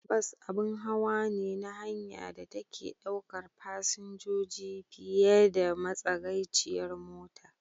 Bas abun hawa ne na hanya da take ɗaukar fasinjoji fiye da matsagaiciyar mota.